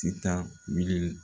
Ti taa